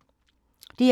DR2